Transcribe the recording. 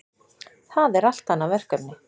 Það er allt annað verkefni.